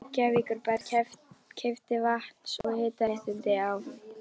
Reykjavíkurbær keypti vatns- og hitaréttindi á